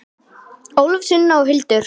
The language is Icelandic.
Ólöf, Sunna og Hildur.